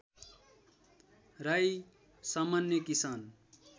राई सामान्य किसान